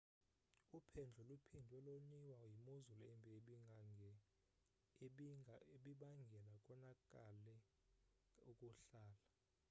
uphendlo luphindwe loniwa yimozulu embi ebibangele konakale ukuhlala